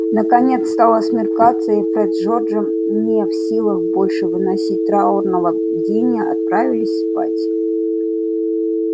наконец стало смеркаться и фред с джорджем не в силах больше выносить траурного бдения отправились спать